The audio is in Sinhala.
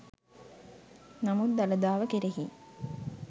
නමුත් දළදාව කෙරෙහි